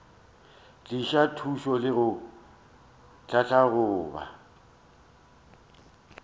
tliša thušo le go tlhahloba